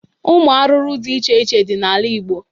Ụmụ arụrụ dị iche iche dị n'ala igbo